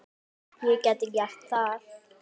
Ég gæti gert það.